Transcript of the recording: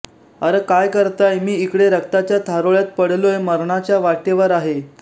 R काय करताय मी इकडे रक्ताच्या थारोळ्यात पडलोय मरणाच्या वाटेवर आहे